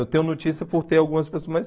Eu tenho notícia por ter algumas pessoas, mas